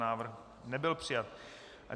Návrh nebyl přijat.